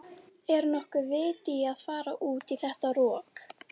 Hálfur pakki af búðingsdufti nægir í tvær lengjur.